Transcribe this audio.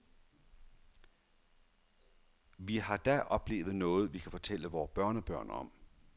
Vi har da oplevet noget, vi kan fortælle vore børnebørn om.